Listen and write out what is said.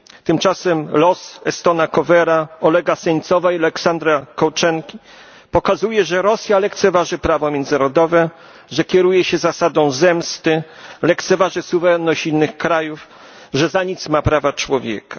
Tymczasem los Estona Kohvera, Olega Seńcowa i Aleksandra Kolczenki pokazuje, że Rosja lekceważy prawo międzynarodowe, że kieruje się zasadą zemsty, że lekceważy suwerenność innych krajów, że za nic ma prawa człowieka.